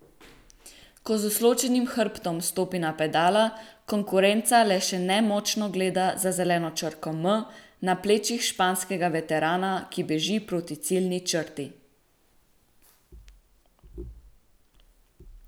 Ko z usločenim hrbtom stopi na pedala, konkurenca le še nemočno gleda za zeleno črko M na plečih španskega veterana, ki beži proti ciljni črti.